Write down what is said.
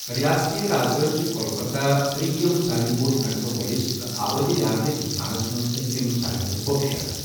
ریاستٕی رازدٲنہِ چھےٚ کولکَتہ، ترٛیٚیِم سارِوٕیہ بوڈ میٹروپولِس ، تہٕ آبٲدی لحاظہِ ہِنٛدُستانس منٛز سٔتیُم سارِوٕیہ کھۄتہٕ بوٚڑ شَہر۔